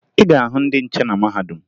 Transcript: Ị ga-ahụ ndị nhiche na mahadum